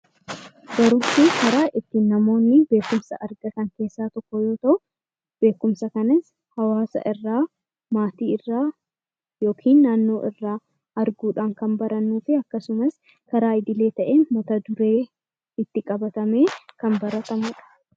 Barumsi karaa ittiin namoonni beekumsa argatan keessaa tokko yoo ta'u, beekumsa kana hawaasa irraa, maatii irraa yookiin naannoo irraa arguu dhaan kan baranii fi akkasumas karaa idilee ta'een mata duree itti qabatamee kan baratamu dha.